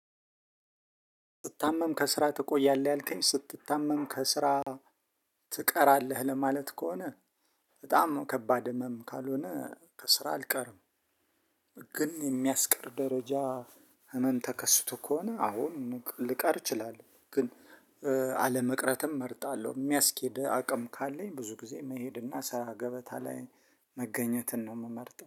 ስትታመም ከስራ ትቆያለህ ያልከኝ ስትታመም ከስራ ትቀራለህ ለማለት ከሆነ በጣም ነው ከባድ ህመም ካልሆነ ከስራ አልቀርም። ግን የሚያስቀር ደረጃ ህመም ተከስቶ ከሆነ አወን ልቀር እችላለሁ። ግን አለመቅረትም እመርጣለሁ የሚያስኬድ አቅም ካለኝ ብዙ ጊዜ መሄድና ስራ ገበታ ላይ መገኘትን ነው የምመርጠው